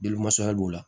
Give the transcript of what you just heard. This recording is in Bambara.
la